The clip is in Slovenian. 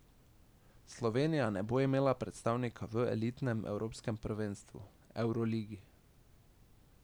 Slovenija ne bo imela predstavnika v elitnem evropskem prvenstvu, evroligi.